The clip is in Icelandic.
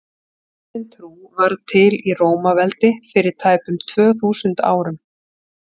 kristin trú varð til í rómaveldi fyrir tæpum tvö þúsund árum